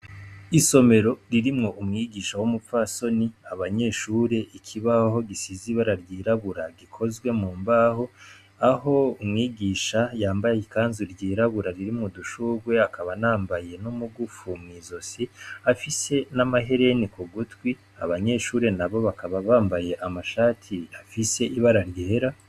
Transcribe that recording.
Isomero ririmwo umwigisha w‘ umupfasoni, abanyeshure, ikibaho gisize ibara ryirabura gikozwe mu mbaho, aho umwigisha yambaye ikanzu ryirabura ririmwo udushugwe, akaba anambaye n‘ umugufu mw‘ izosi, afise n‘ amahereni ku gutwi, abanyeshure nabo bakaba bambaye amashati afise ibara ryera.